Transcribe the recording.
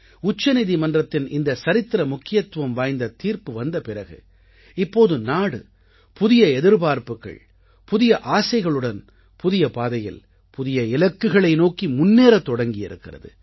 உச்சநீதிமன்றத்தின் இந்த சரித்திர முக்கியத்துவம் வாய்ந்த தீர்ப்பு வந்த பிறகு இப்போது நாடு புதிய எதிர்பார்ப்புக்கள் புதிய ஆசைகளுடன் புதிய பாதையில் புதிய இலக்குகளை நோக்கி முன்னேறத் தொடங்கி இருக்கிறது